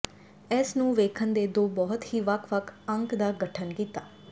ਇਸ ਨੂੰ ਵੇਖਣ ਦੇ ਦੋ ਬਹੁਤ ਹੀ ਵੱਖ ਵੱਖ ਅੰਕ ਦਾ ਗਠਨ ਕੀਤਾ